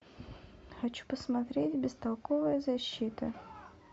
хочу посмотреть бестолковая защита